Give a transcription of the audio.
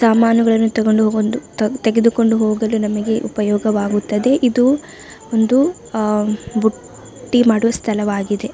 ಸಾಮಾನುಗಳನ್ನು ತೆಗೆದು ತೆಗೆದುಕೊಂಡು ಹೋಗಲು ನಮಗೆ ಉಪಯೋಗವಾಗುತ್ತದೆ ಇದು ಒಂದು ಆಹ್ಹ್ ಬುಟ್ಟಿ ಮಾಡುವ ಸ್ಥಲವಾಗಿದೆ .